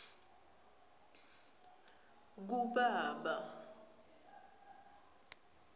kubaba